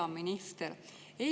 Hea minister!